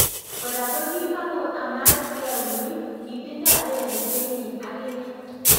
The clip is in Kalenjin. Koraa kokimako amat kee Winnie , kitindo lelutienyin akinee.